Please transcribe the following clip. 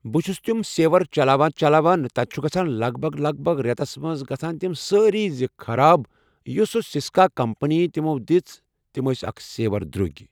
بہٕ چھُس تِم سیور چلاوان چلاوان تتہِ چھُ گژھان لگ بگ لگ بگ رٮ۪تس منٛز گژھان تِم سٲری زٕ خراب یس سۄ سسکا کمپٔنی تِمو دِژ تِم اکھ سیور درٛوٚگۍ